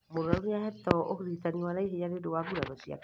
Mũrwaru nĩahetwo ũrigitani wa naihenya nĩũndũ wa nguraro ciake